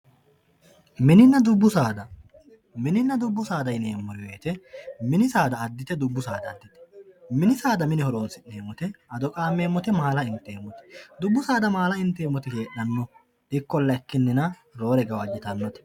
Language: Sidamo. mininna dubbu saada mininna dubbu saada yineemmo wote mini saada addite dubbu saada addite mini saada mine horonsi'neemmote ado qaammeemmote maala inteemmote dubbu saada maala inteemmoti heedhanno ikkolla ikkinnina roore gawajjitannote.